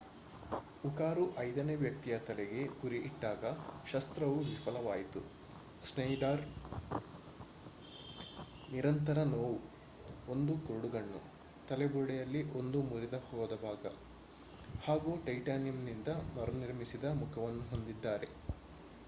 ಉಕಾರು ಐದನೇ ವ್ಯಕ್ತಿಯ ತಲೆಗೆ ಗುರಿ ಇಟ್ಟಾಗ ಶಸ್ತ್ರವು ವಿಫಲವಾಯಿತು. ಶ್ನೇಯ್ಡರ್ ನಿರಂತರ ನೋವು 1 ಕುರುಡುಗಣ್ಣು ತಲೆಬುರಡೆಯಲ್ಲಿ ಒಂದು ಮುರಿದಹೋದ ಭಾಗ ಹಾಗೂ ಟೈಟಾನಿಯಂನಿಂದ ಮರುನಿರ್ಮಿಸಿದ ಮುಖವನ್ನು ಹೊಂದಿದ್ದಾರೆ